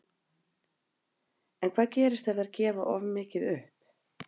En hvað gerist ef þær gefa of mikið upp?